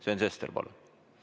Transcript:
Sven Sester, palun!